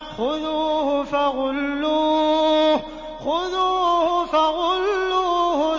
خُذُوهُ فَغُلُّوهُ